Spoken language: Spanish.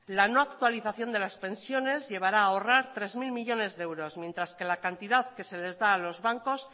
la no actualización de las pensiones llevará a ahorrar tres mil millónes de euros mientras que la cantidad que se les da a los bancos